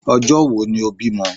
Ọjọ́ wo ni o bímọ?